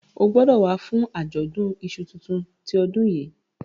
o gbódò wá fún Ajọdun iṣu títún ti odun yí!